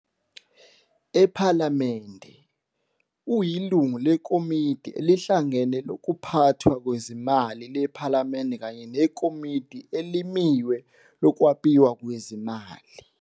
Ephalamende, uyilungu leKomidi eliHlangene lokuPhathwa kweziMali lePhalamende kanye neKomidi Elimiwe Lokwabiwa Kwezimali.